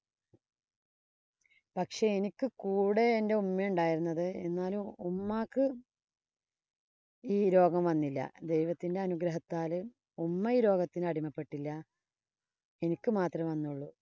പക്ഷേ എനിക്ക് കൂടെ എന്‍റെ ഉമ്മ ഉണ്ടാരുന്നത്. എന്നാലും ഉമ്മാക്ക് ഈ രോഗം വന്നില്ല. ദൈവത്തിന്‍റെ അനുഗ്രഹത്താല് ഉമ്മ ഈ രോഗത്തിനു അടിമപ്പെട്ടില്ല. എനിക്ക് മാത്രേ വന്നോളു.